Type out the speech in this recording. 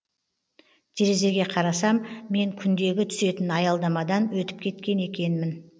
терезеге қарасам мен күндегі түсетін аялдамадан өтіп кеткен екенмін